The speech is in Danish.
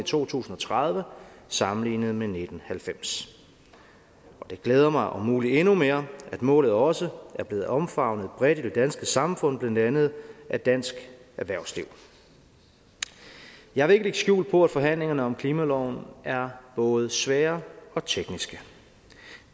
to tusind og tredive sammenlignet med nitten halvfems det glæder mig om muligt endnu mere at målet også er blevet omfavnet bredt i det danske samfund blandt andet af dansk erhvervsliv jeg vil ikke lægge skjul på at forhandlingerne om klimaloven er både svære og tekniske